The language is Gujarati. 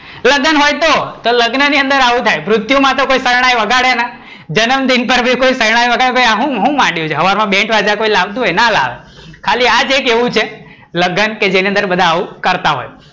લગ્ન હોય તો, લગ્ન ની અંદર આવું થાય, મૃત્યુ માં તો કોઈ શરણાઈ ના, જન્મદિન પર બી કોઈ શરણાઈ વગાડે ભાઈ આ હું હું ગાંડિયો છે સવાર માં બેન્ડ બાજા લાવતું હોય ના લાવે, ખાલી આ એક લગન જ હોય જેમાં એવું કરતા હોય,